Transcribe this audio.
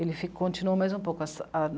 Ele fi... continuou mais um pouco essa...